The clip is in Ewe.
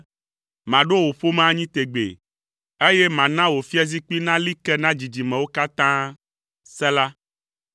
‘Maɖo wò ƒome anyi tegbee, eye mana wò fiazikpui nali ke na dzidzimewo katã.’ ” Sela